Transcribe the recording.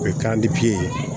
O ye ye